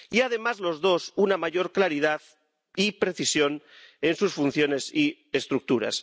Y, además, los dos, una mayor claridad y precisión en sus funciones y estructuras.